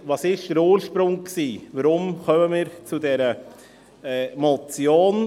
Was war der Ursprung, wie kommt es zu dieser Motion?